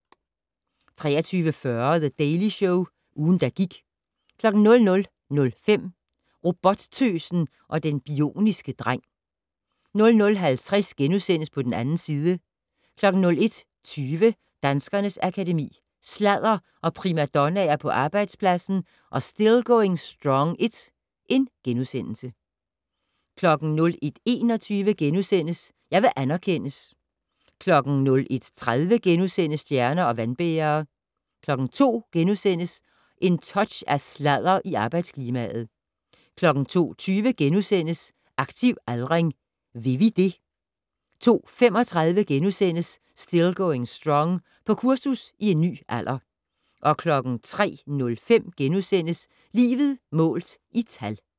23:40: The Daily Show - ugen, der gik 00:05: Robottøsen og den bioniske dreng 00:50: På den 2. side * 01:20: Danskernes Akademi: Sladder og primadonnaer på arbejdspladsen & Still Going Strong I * 01:21: Jeg vil anerkendes * 01:30: Stjerner og vandbærere * 02:00: Et touch af sladder i arbejdsklimaet * 02:20: Aktiv aldring. Vil vi det? * 02:35: Still going strong - På kursus i en ny alder * 03:05: Livet målt i tal *